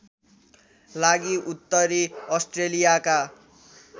लागि उत्तरी अस्ट्रेलियाका